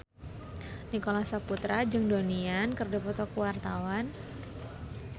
Nicholas Saputra jeung Donnie Yan keur dipoto ku wartawan